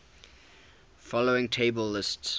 following table lists